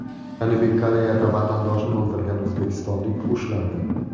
Janubiy Koreyada vatandoshini o‘ldirgan o‘zbekistonlik ushlandi.